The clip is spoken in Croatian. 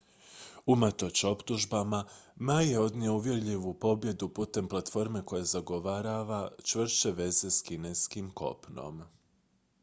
unatoč optužbama ma je odnio uvjerljivu pobjedu putem platforme koja zagovara čvršće veze s kineskim kopnom